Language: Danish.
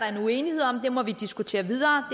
en uenighed om det må vi diskutere videre